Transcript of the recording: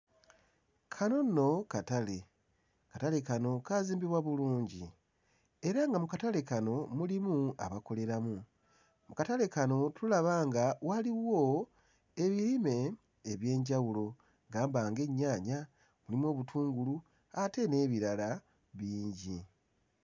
Kano nno katale. Akatale kano kaazimbibwa bulungi. Era nga mu katale kano mulimu abakoleramu. Akatale kano tulaba nga waliwo ebirime eby'enjawulo gamba ng'ennyaanya, mulimu obutungulu ate n'ebirala bingi.